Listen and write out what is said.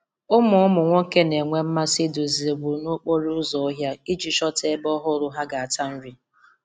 Ụmụ Ụmụ nwoke na-enwe mmasị iduzi ewu n'okporo ụzọ ọhịa iji chọta ebe ọhụrụ ha ga-ata nri.